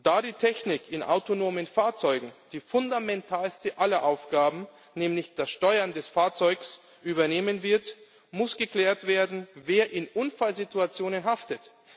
Da die Technik in autonomen Fahrzeugen die fundamentalste aller Aufgaben, nämlich das Steuern des Fahrzeugs, übernehmen wird, muss geklärt werden, wer in Unfallsituationen haftet.